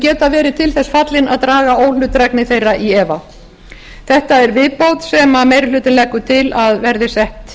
geta verið til þess fallin að draga óhlutdrægni þeirra í efa þetta er viðhorf sem meiri hlutinn leggur til að verði sett